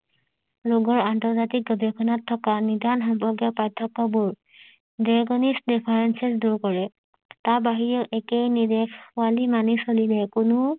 ৰোগৰ আন্তজাতিক গৱেষণাত থকা সম্পৰ্কীয় পাৰ্থক্য বোৰ দুৰ কৰে তাৰ বাহিৰেও একেই নিৰ্দেশ ৱালি মানি চলিলে কোনো